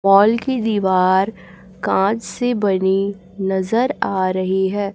Mall की दीवार कांच से बनी नजर आ रही है।